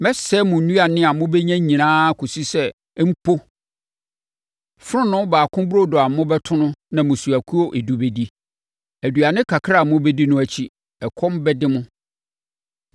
Mɛsɛe mo nnuane a mobɛnya nyinaa kɔsi sɛ mpo, fononoo baako burodo a ɛbɛto no na mmusuakuo edu bɛdi. Aduane kakra a mobɛdi no akyi, ɛkɔm bɛde mo.